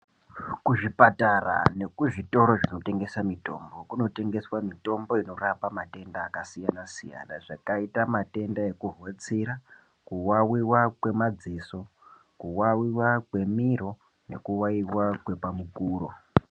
Kuzvipatara nekuzvitoro zvinotengesa mitombo, kunotengeswa mitombo inorapa matenda akasiyana-siyana, zvakayita matenda ekuhotsira, kuwawiwa kwemadziso, kuwawiwa kwemiro, nekuwawiwa kwepamukuro.